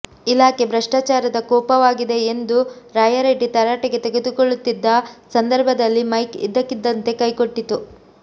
ಇಲಾಖೆ ಭ್ರಷ್ಟಾಚಾರದ ಕೂಪವಾಗಿದೆ ಎಂದು ರಾಯರೆಡ್ಡಿ ತರಾಟೆಗೆ ತೆಗೆದುಕೊಳ್ಳುತ್ತಿದ್ದ ಸಂದರ್ಭದಲ್ಲಿ ಮೈಕ್ ಇದ್ದಕ್ಕಿದ್ದಂತೆ ಕೈಕೊಟ್ಟಿತು